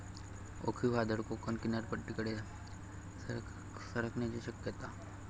ओखी वादळ कोकण किनारपट्टीकडे सरकण्याची शक्यता